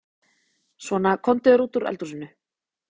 Gætum við spila í ensku úrvalsdeildinni?